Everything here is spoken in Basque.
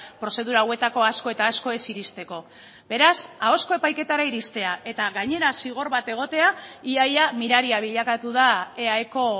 prozedura hauetako asko eta asko ez iristeko beraz ahozko epaiketara iristea eta gainera zigor bat egotea ia ia miraria bilakatu da eaeko